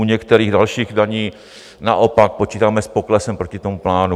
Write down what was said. U některých dalších daní naopak počítáme s poklesem proti tomu plánu.